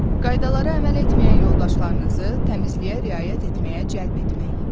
Qaydalara əməl etməyən yoldaşlarınızı təmizliyə riayət etməyə cəlb etmək.